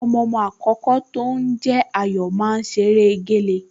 Ọmọọmọ àkọ́kọ́ tó ń jẹ́ Ayọ̀ máa ń ṣeré géle